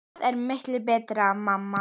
Það er miklu betra mamma!